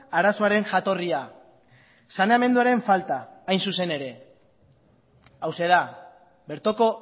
arazoaren jatorria saneamenduaren falta hain zuzen ere hauxe da bertoko